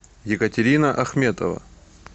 екатерина ахметова